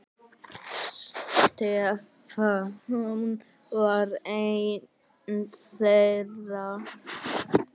Stefán var einn þeirra.